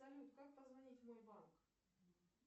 салют как позвонить в мой банк